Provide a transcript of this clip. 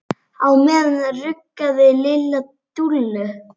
Á meðan ruggaði Lilla Dúllu.